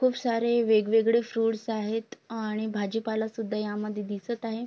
खूप सारे वेगवेगळे फ्रुट्स आहेत आणि भाजीपाला सुद्धा या मध्ये दिसत आहे.